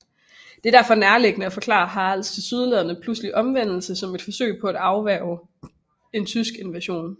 Det er derfor nærliggende at forklare Haralds tilsyneladende pludselige omvendelse som et forsøg på at afværge en tysk invasion